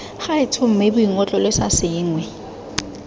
gaetsho mme boingotlo lesa sengwe